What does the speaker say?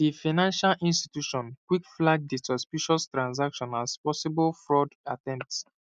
di financial institution quick flag di suspicious transaction as possible fraud attempt